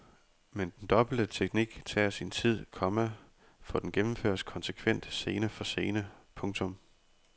Men den dobbelte teknik tager sin tid, komma for den gennemføres konsekvent scene for scene. punktum